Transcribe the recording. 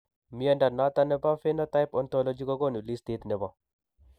Mnyondo noton nebo Phenotype Ontology kogonu listiit nebo